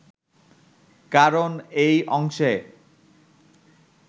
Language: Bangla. কারণ এই অংশে